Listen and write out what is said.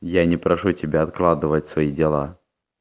я не прошу тебя откладывать свои дела